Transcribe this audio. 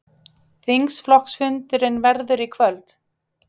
Þingflokksfundurinn verður í kvöld